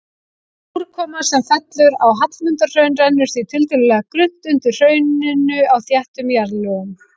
Úrkoma sem fellur á Hallmundarhraun rennur því tiltölulega grunnt undir hrauninu á þéttum jarðlögum.